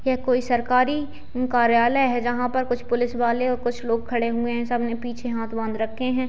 यह कोई सरकारी कार्यालय है जहां पर कुछ पुलिस वाले और कुछ लोग खड़े हुए हैं। सब ने पीछे हाथ बांध रखे हैं।